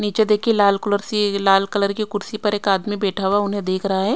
नीचे देखिए लाल कलर से लाल कलर की कुर्सी पर एक आदमी बैठा हुआ उन्हें देख रहा है।